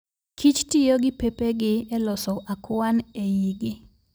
Kich tiyo gi pepegi e loso akwan e igi